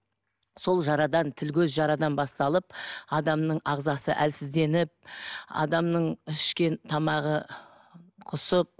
сол жарадан тіл көз жарадан басталып адамның ағзасы әлсізденіп адамның ішкен тамағы құсып